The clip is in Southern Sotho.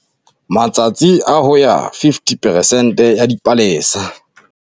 Matsatsi a ho ya 50 peresente ya dipalesa.